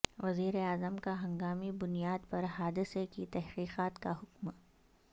وزیراعظم کا ہنگامی بنیاد پر حادثے کی تحقیقات کا حکم